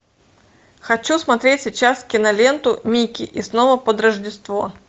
хочу смотреть сейчас киноленту микки и снова под рождество